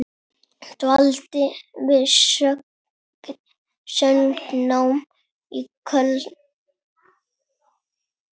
Dvaldi við söngnám í Köln.